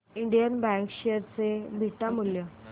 Indian bank share चे beta मूल्य